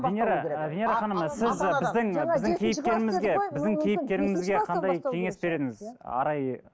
венера ы венера ханым сіз біздің біздің кейіпкерімізге біздің кейіпкерімізге қандай кеңес берер едіңіз арай